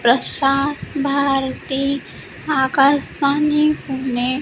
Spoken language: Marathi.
प्रसार भारती आकाशवाणी पुणे --